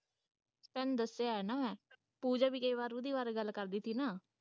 ਤੈਨੂੰ ਦੱਸਿਆ ਹੈ ਨਾ ਮੈਂ ਪੂਜਾ ਵੀ ਕਈ ਵਾਰ ਉਸ ਦੇ ਬਾਰੇ ਗੱਲ ਕਰਦੀ ਸੀ ਨਾ।